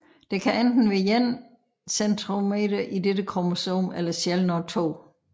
Der kan enten være én centromer i dette kromosom eller sjældnere 2